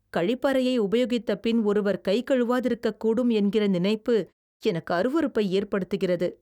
கழிப்பறையை உபயோகித்தபின் ஒருவர் கை கழுவாதிருக்கக்கூடும் என்கிற நினைப்பு எனக்கு அருவருப்பை ஏற்படுத்துகிறது.